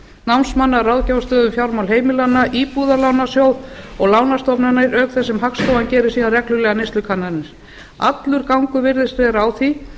námsmanna ráðgjöf um stöðu og fjármál heimilanna íbúðalánasjóð og lánastofnanir auk þess sem hagstofan gerir síðan reglulegar neyslukannanir allur gangur virðist vera á því að